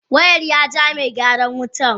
Wayan ya jaa Megyaran wutan.